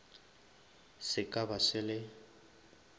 se ka ba se le